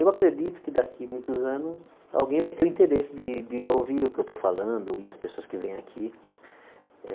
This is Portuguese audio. Eu acredito que daqui muitos anos alguém vai ter o interesse de de ouvir o que eu estou falando e as pessoas que vêm aqui. Eh